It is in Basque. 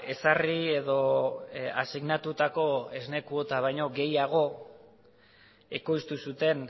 ezarri edo asignatutako esne kuota baino gehiago ekoiztu zuten